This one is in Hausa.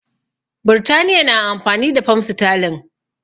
Birtaniya na amfani da fam sterling